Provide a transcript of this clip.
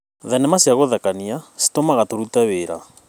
Thenema cia gũthekania citũtũmaga tũrute wĩra.